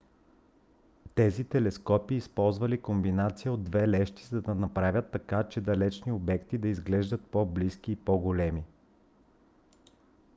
тези телескопи използвали комбинация от две лещи за да направят така че далечни обекти да изглеждат по-близки и по-големи